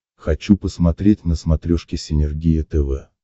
хочу посмотреть на смотрешке синергия тв